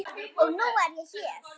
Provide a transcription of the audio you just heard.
Og nú er ég hér!